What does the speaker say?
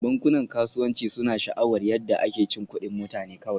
Bankunan kasuwanci suna sha'awar yadda ake cin kuɗin mutane kawai